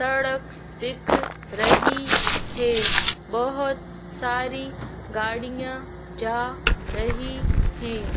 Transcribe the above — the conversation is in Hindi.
सड़क दिख रही है। बहोत सारी गाड़ियां जा रही है।